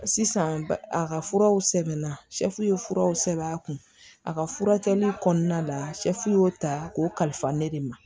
Sisan ba a ka furaw sɛbɛnna ye furaw sɛbɛn a kun a ka furakɛli kɔnɔna la y'o ta k'o kalifa ne de ma